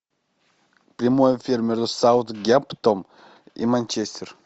прямой эфир между саутгемптон и манчестер